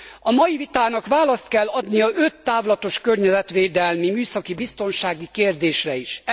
A mai vitának választ kell adnia öt távlatos környezetvédelmi műszaki biztonsági kérdésre is.